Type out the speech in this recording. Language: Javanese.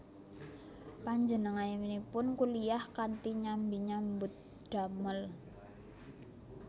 Panjenenganipun kuliyah kanthi nyambi nyambut damel